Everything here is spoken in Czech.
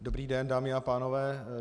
Dobrý den, dámy a pánové.